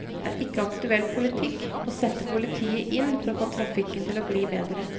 Det er ikke aktuell politikk å sette politiet inn for å få trafikken til å gli bedre.